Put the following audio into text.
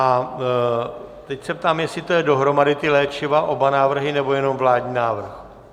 A teď se ptám, jestli to je dohromady, ta léčiva, oba návrhy, nebo jen vládní návrh.